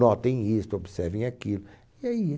Notem isto, observem aquilo, e aí ia